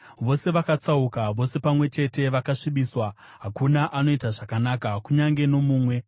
Vose vakatsauka, vose pamwe chete vakasvibiswa; hakuna anoita zvakanaka, kunyange nomumwe.